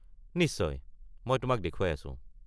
নিশ্চয়, মই তোমাক দেখুৱাই আছোঁ।